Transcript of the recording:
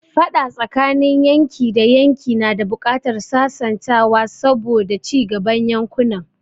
Faɗa tsakanin yanki da yanki na da buƙatar sasantawa saboda cigaban yankunan.